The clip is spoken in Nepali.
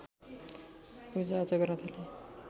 पूजाआजा गर्न थाले